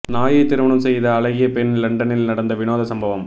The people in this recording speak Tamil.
நாயை திருமணம் செய்த அழகிய பெண் லண்டனில் நடந்த வினோத சம்பவம்